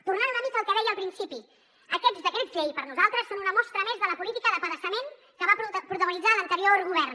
tornant una mica al que deia al principi aquests decrets llei per a nosaltres són una mostra més de la política d’apedaçament que va protagonitzar l’anterior govern